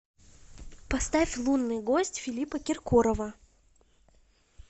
поставь лунный гость филиппа киркорова